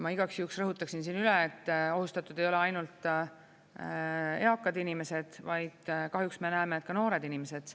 Ma igaks juhuks rõhutaksin üle, et ohustatud ei ole ainult eakad inimesed, vaid kahjuks me näeme, et ka noored inimesed.